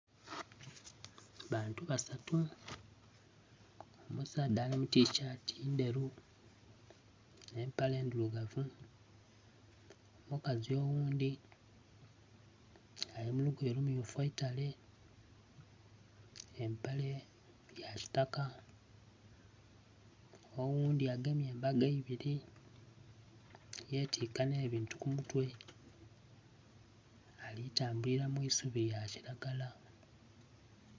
Bantu basatu omusaadha ali mu tishaati ndheru n'empale ndhirugavu. Omukazi oghundhi ali mu lugoye lummyufu eitale empale yakitaka, oghundhi agemye embago ibiri yetiika n'ebintu ku mutwe alitambulira mu isubi lya kilagala.